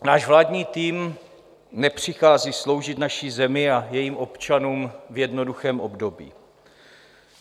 Náš vládní tým nepřichází sloužit naší zemi a jejím občanům v jednoduchém období.